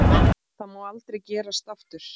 Það má aldrei gerast aftur.